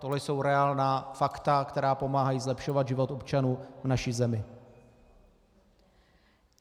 Tohle jsou reálná fakta, která pomáhají zlepšovat život občanů v naší zemi.